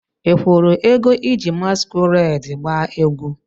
Ị kwụrụ ego iji masquerade gbaa egwu?